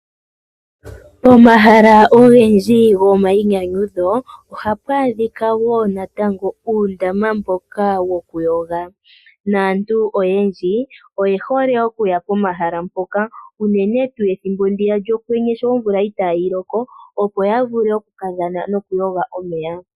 Pomahala ogendji gomainyanyudho ohapu adhika woo uundama woku yoga. Naantu oyendji oye hole okuya pomashala mpoka unene tuu ethimbo lyokwenye shoo omvula itaayi loko.